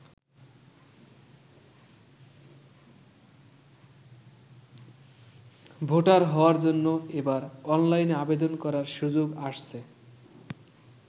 Voter হওয়ার জন্য এবার অনলাইনে আবেদন করার সুযোগ আসছে।